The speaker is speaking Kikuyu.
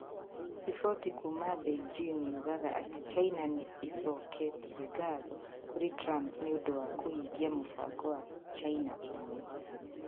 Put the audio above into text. Riboti kuuma Beijing yugaga atĩ China nĩ ĩcoketie ngatho kũrĩ Trump nĩ ũndũ wa kũhingia mũbango wa "China ĩmwe".